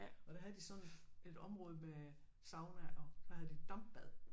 Og der havde de sådan et område med sauna og dampbad